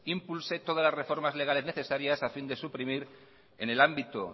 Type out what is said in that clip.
impulse toda la reformas legales necesarias a fin de suprimir en el ámbito